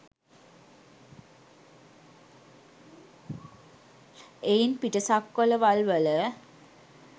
එයින් පිටසක්වළවල්වල